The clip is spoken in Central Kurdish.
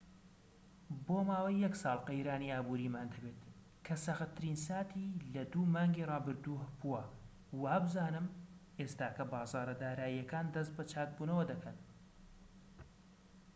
بۆ ماوەی یەک ساڵ قەیرانی ئابوریمان دەبێت کە سەختترین ساتی لە دوو مانگی ڕابردوو بووە و وابزانم ئێستاکە بازاڕە داراییەکان دەست بە چاک بوونەوە دەکەن